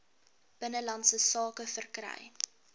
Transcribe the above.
binnelandse sake verkry